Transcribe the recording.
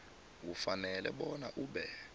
ufanele bona ube